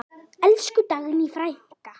Elsku Dagný frænka.